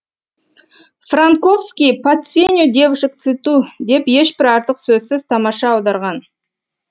франковский под сенью девушек в цвету деп ешбір артық сөзсіз тамаша аударған